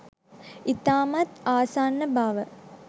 ඉතාමත් ආසන්න බව